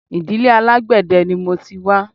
Ìdílé alágbẹ̀dẹ ni mo ti wá